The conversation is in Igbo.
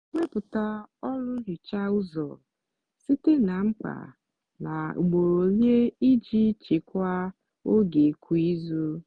wepụta ọrụ nhicha ụzọ site na mkpa na ugboro ole iji chekwaa oge kwa izu.